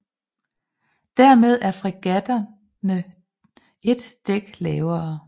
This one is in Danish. Dermed er fregatterne ét dæk lavere